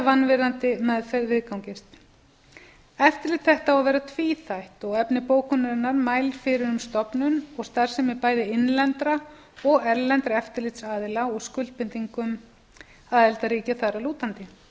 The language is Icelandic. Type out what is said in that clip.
vanvirðandi meðferð viðgangist eftirlit þetta á að vera tvíþætt og efni bókunarinnar mælir fyrir um stofnun og starfsemi bæði innlendra og erlendra eftirlitsaðila og skuldbindingum aðildarríkja þar að